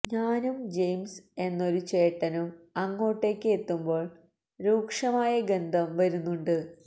ഞാനും ജയിംസ് എന്നൊരു ചേട്ടനും അങ്ങോട്ടേക്ക് എത്തുമ്പോൾ രൂക്ഷമായ ഗന്ധം വരുന്നുണ്ട്